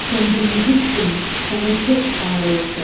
Sən bir yigidsin, sənə çox ar olsun.